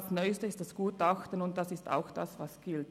Das Neueste ist das Gutachten, und das ist es, was gilt.